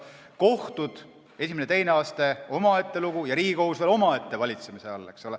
Kohtud, esimene ja teine aste, on omaette lugu, ja Riigikohus on veel omaette valitsemise all.